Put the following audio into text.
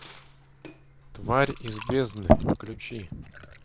тварь из бездны включи